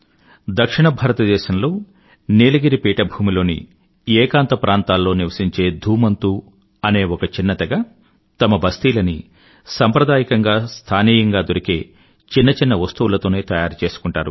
దక్షిణ భారతదేశంలో నీలగిరి పీఠభూమిలోని ఏకాంత ప్రాంతాల్లో నివశించే ధూమంతు అనే ఒక చిన్న తెగ తమ బస్తీలని సంప్రదాయకంగా స్థానీయంగా దొరికే చిన్న చిన్న వస్తువులతోనే తయారుచేసుకుంటారు